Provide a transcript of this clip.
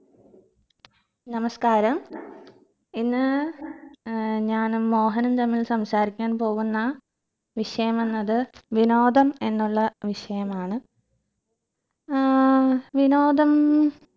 നമസ്ക്കാരം ഇന്ന് ഏർ ഞാനും മോഹനും തമ്മിൽ സംസാരിക്കാൻ പോകുന്ന വിഷയമെന്നത് വിനോദം എന്നുള്ള വിഷയമാണ് ഏർ വിനോദം